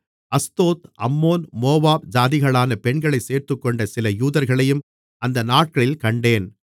Ashdod Ammon Moab ஜாதிகளான பெண்களைச் சேர்த்துக்கொண்ட சில யூதர்களையும் அந்த நாட்களில் கண்டேன்